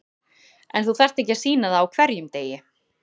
En þú þarft ekki að sýna það á hverjum degi.